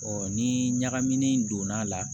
ni ɲagamini in donn'a la